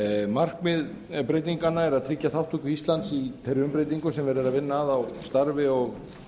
markmið breytinganna er að tryggja þátttöku íslands í þeirri umbreytingu sem verið er að vinna að á starfi og